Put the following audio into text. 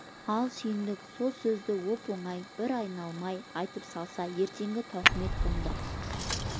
ал сүйіндік сол сөзді оп-оңай бір айналмай айтып салса ертеңгі тауқымет бұнда